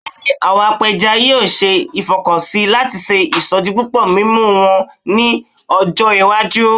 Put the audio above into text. Bẹẹni, awọn apẹja yoo ṣe ifọkansi lati ṣe isodipupo mimu wọn ni ọjọ iwaju